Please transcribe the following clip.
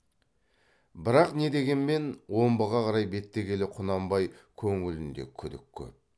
бірақ не дегенмен омбыға қарай беттегелі құнанбай көңілінде күдік көп